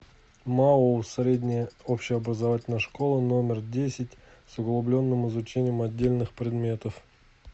маоу средняя общеобразовательная школа номер десять с углубленным изучением отдельных предметов